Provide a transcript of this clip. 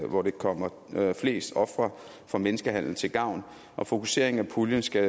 hvor de kommer flest ofre for menneskehandel til gavn og fokuseringen af puljen skal